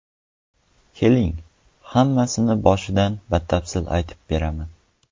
Keling, hammasini boshidan batafsil aytib beraman.